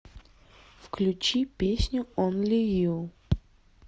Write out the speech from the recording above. включи песню онли ю